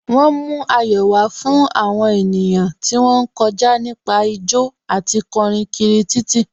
Wọ́n mú ayọ̀ wá fún àwọn ènìyàn tí wón ń kọjá nípa jó àti kọrin kiri títì.